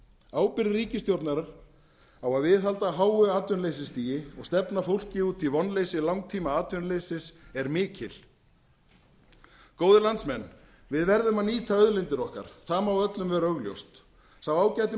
ábyrgð ríkisstjórnar á að viðhalda háu atvinnuleysisstigi og stefna fólki út í vonleysi langtímaatvinnuleysis er mikil góðir landsmenn við verðum að nýta auðlindir okkar það má öllum vera augljóst sá ágæti